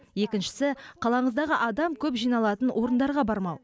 екіншісі қалаңыздағы адам көп жиналатын орындарға бармау